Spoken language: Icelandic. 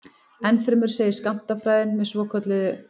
Ennfremur segir skammtafræðin með svokölluðu